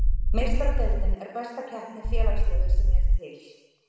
Meistaradeildin er besta keppni félagsliða sem er til.